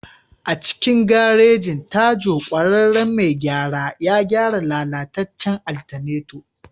A cikin garejin, Tajo ƙwararren mai gyara ya gyara lalatacen alternator.